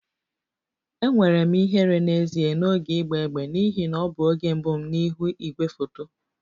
Enwere m ihere n'ezie n'oge ịgba égbè n'ihi na ọ bụ oge mbụ m n'ihu igwefoto